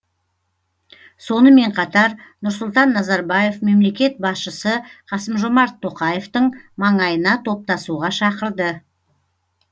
сонымен қатар нұрсұлтан назарбаев мемлекет басшысы қасым жомарт тоқаевтың маңайына топтасуға шақырды